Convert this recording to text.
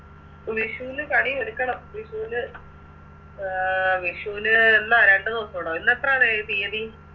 വിഷുന് കണിയൊരുക്കണം വിഷുന് അഹ് വിഷുന് എന്ന രണ്ട് ദിവസുടോ ഇന്നെത്രണ് തിയ്യതി